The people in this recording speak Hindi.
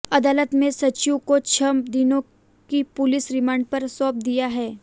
अदालत ने संजीव को छह दिनों की पूलिस रिमांड पर सौंप दिया है